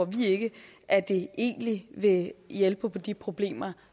vi ikke at det egentlig vil hjælpe på de problemer